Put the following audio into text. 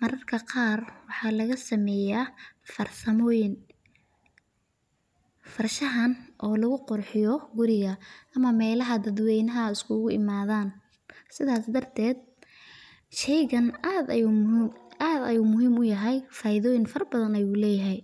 mararka qaar waxaa laga sameeya far samooyin, farshaxan oo lagu qurxiyo guriga ama meelaha dad weynaha iskugu imaadan, sidaas darteed sheeygan aad ayuu muhiim uyahay faidoyin fara badan ayuu leyahay.